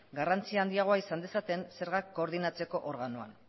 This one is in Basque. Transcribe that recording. garrantzi handiago izan dezaten zergak koordinatzeko organoan